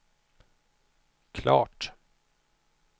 klart